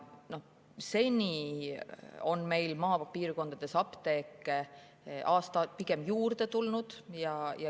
Seni on meil maapiirkondades apteeke aasta-aastalt pigem juurde tulnud.